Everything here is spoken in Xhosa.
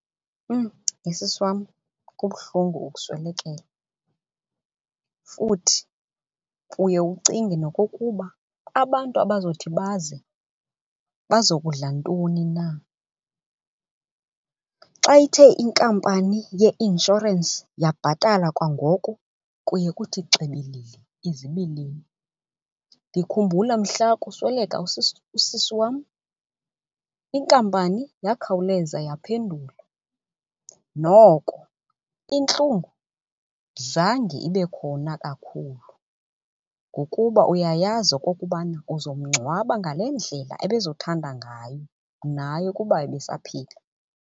He sis wam kubuhlungu ukuswelekelwa futhi uye ucinge nokokuba abantu abazawuthi baze bazokudla ntoni na. Xa ithe inkampani yeinshorensi yabhatala kwangoko kuye kuthi xibilili izibilini. Ndikhumbula mhla kusweleka usisi wam inkampani yakhawuleza yaphendula. Noko intlungu zange ibe khona kakhulu ngokuba uyayazi okokubana uzomngcwabo ngale ndlela ebezothanda ngayo naye ukuba besaphila.